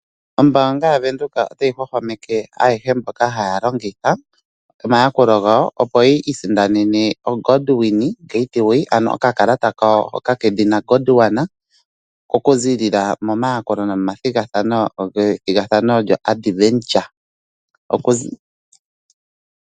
Oombaanga yaVenduka otayi hwahwameke ayehe mboka haya longitha omayakulo gawo opo yi isindanene oGondwana getaway. Ano okakalata kawo hoka kedhina Gondwana oku ziilila momayakulo nomathigathano ga adventure.